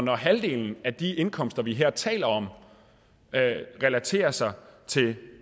når halvdelen af de indkomster vi her taler om relaterer sig til